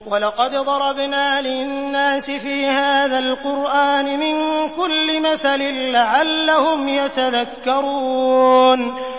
وَلَقَدْ ضَرَبْنَا لِلنَّاسِ فِي هَٰذَا الْقُرْآنِ مِن كُلِّ مَثَلٍ لَّعَلَّهُمْ يَتَذَكَّرُونَ